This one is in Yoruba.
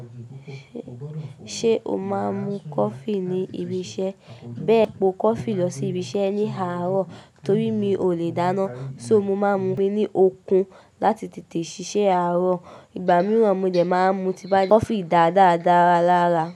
Ṣé o máa ń mu coffee ní ibi iṣẹ́? Bẹ́ẹ̀ po coffee lọ sí ibi iṣẹ́ ní àárọ̀ torí mi ò lè dáná. So mo máa ń fun mi ní okun láti tètè ṣiṣẹ́ àárọ̀. Ìgbà mìíràn mo dẹ̀ máa ń mu u ti bá ri. Coffee dá dára dára lára.